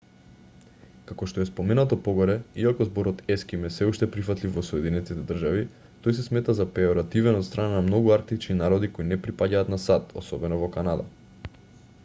како што е споменато погоре иако зборот еским е сѐ уште прифатлив во соединетите држави тој се смета за пејоративен од страна на многу арктички народи кои не припаѓаат на сад особено во канада